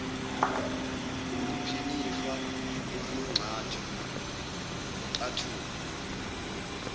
ngephinifa eliyingxathu wukuxathuka